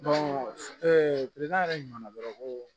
yɛrɛ ɲuman na dɔrɔn ko